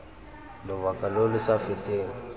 lobaka lo lo sa feteng